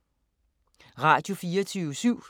Radio24syv